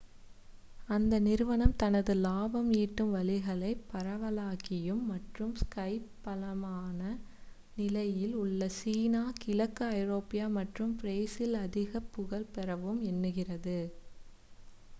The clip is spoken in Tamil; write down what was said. அந்த நிறுவனம் தனது லாபம் ஈட்டும் வழிகளை பரவலாக்கியும் மற்றும் ஸ்கைப் பலமான நிலையில் உள்ள சீனா கிழக்கு ஐரோப்பா மற்றும் பிரேசிலில் அதிகப் புகழ் பெறவும் எண்ணுகிறது